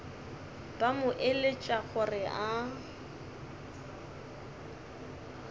ba mo eletša gore a